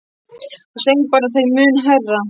Hann söng bara þeim mun hærra.